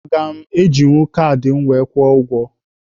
Aga m ejinwu kaadị m were kwụọ ụgwọ?